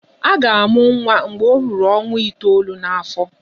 A ga-amụ nwa mgbe ọ nọrọ ọnwa itolu n'afọ.